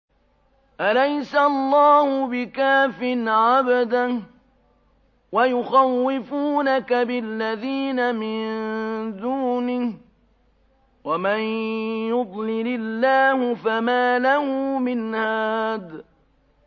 أَلَيْسَ اللَّهُ بِكَافٍ عَبْدَهُ ۖ وَيُخَوِّفُونَكَ بِالَّذِينَ مِن دُونِهِ ۚ وَمَن يُضْلِلِ اللَّهُ فَمَا لَهُ مِنْ هَادٍ